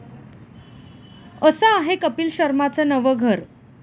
असं आहे कपील शर्माचं नवं 'घर'